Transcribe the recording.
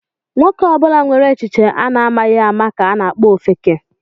Nwoke ọbụla nwere echiche a na-amaghị ama ka a na-akpọ ofeke.